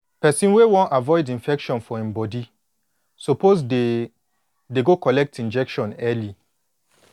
person wey wan avoid infection for em body suppose dey dey go collect injection early